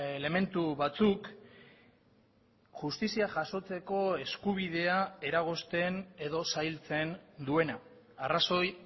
elementu batzuk justizia jasotzeko eskubidea eragozten edo zailtzen duena arrazoi